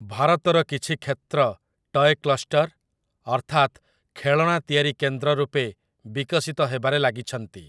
ଭାରତର କିଛି କ୍ଷେତ୍ର ଟୟ୍ କ୍ଲଷ୍ଟର, ଅର୍ଥାତ୍‌ ଖେଳଣା ତିଆରି କେନ୍ଦ୍ର ରୂପେ ବିକଶିତ ହେବାରେ ଲାଗିଛନ୍ତି ।